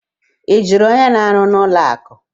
Ị jụrụ onye na-arụ n'ụlọ akụ?